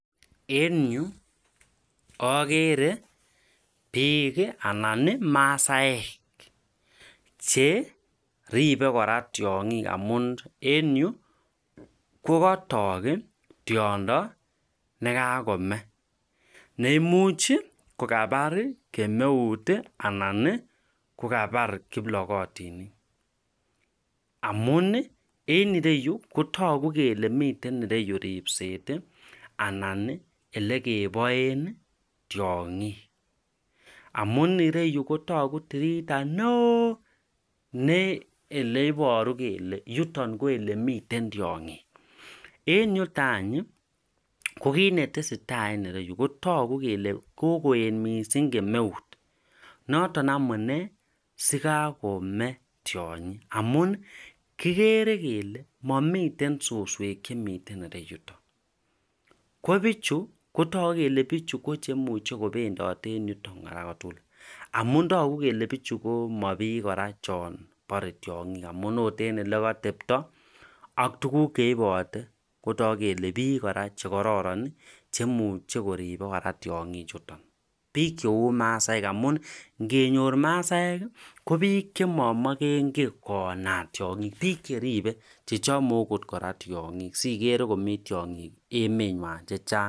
en yu ogere biik iih anan iih masaek, che ribe kora tyongiik amuun en yuu ko katook iih tyondo negakome, neimuch iih kogabaar kemoeut iih anan kogabaar kiplogotinik, amuun iih en ireyuu kotogu kele miten ireyuu ribseet aiih alan iih elegeboen tyongiik, amuun ireyu kotogu tirita neoo ne eleboru kel yuto ko elemiten tyongiik, en yuton any iih ko kiit netesetai en ireyiu kotogu kel kokoet mising kemeut noton amuun noton amuune ko kagome tyonyi, amuun kigere kele momiten susweek chemiten ireyuton ko bichu kotogu kele bichu ko chemuche kobendote en yuton kora kotugul, amuun togu kele bichu ko mabiik kora chon bore tyongiik amuun oot en elekotebto ak tuguk cheibote kotogu kora kele biik chekororon chemuche koribe tyongiik chuton, biik cheuu masaek amuun ngenyoor masaek iih ko biik chemomogenki koonat tyongiiik, biik cheribe chechomo oot kora tyongiik sigere kora komii tyongiik emenywaan chechang.